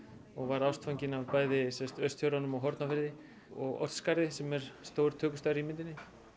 og varð ástfanginn af bæði Austfjörðunum og Hornafirði og Oddsskarði sem er stór tökustaður í myndinni